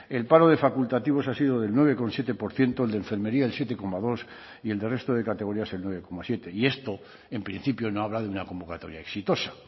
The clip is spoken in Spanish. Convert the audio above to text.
el paro de facultativos ha sido del nueve coma siete por ciento el de enfermería el siete coma dos y el de resto de categorías el nueve coma siete y esto en principio no habla de una convocatoria exitosa